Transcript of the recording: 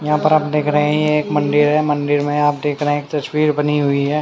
यहां पर आप देख रहे हैं ये एक मंदिर है मंदिर में आप देख रहे हैं एक तस्वीर बनी हुई है।